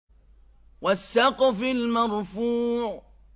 وَالسَّقْفِ الْمَرْفُوعِ